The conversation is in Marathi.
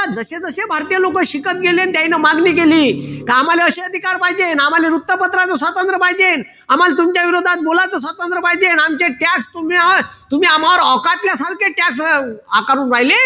जशे जशे भारतीय लोक शिकत गेले त्यांनी मागणी केली की आम्हाला अशे अधिकार पाहिजे आम्हाला वृत्तपत्राचा स्वतंत्र पाहिजे आम्हाला तुमच्या विरोधात बोलायचं स्वतंत्र पाहिजे आमचे tax तुम्ही होय तुम्ही आम्हावर औकातल्या सारखे tax आकारून राहिले